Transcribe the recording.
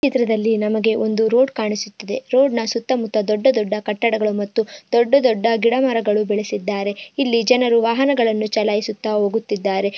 ಈ ಚಿತ್ರದಲ್ಲಿ ನಮ್ಮಗೇ ಒಂದು ರೋಡ್ ಕಾಣಿಸುತ್ತಿದೆ ರೋಡ್ ನಾ ಸುತ್ತಾ ಮುತ್ತಾ ದೊಡ್ಡ ದೊಡ್ಡ ಕಟ್ಟಡಗಳು ಮತ್ತು ದೊಡ್ಡ ದೊಡ್ಡ ಗಿಡ ಮರಗಳು ಬೆಳಿಸಿದರೆ ಇಲ್ಲಿ ಜನರು ವಾಹನಗಳನ್ನು ಚಲಾಯಿಸುತ್ತಾ ಹೋಗುತ್ತಿದರೆ.